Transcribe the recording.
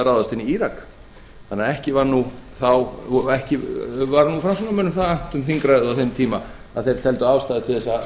ráðast inn í írak ekki var framsóknarmönnum það annt um þingræðið á þeim tíma að þeir teldu ástæðu